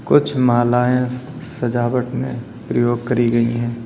कुछ मालाएं सजावट में प्रयोग करी गई है।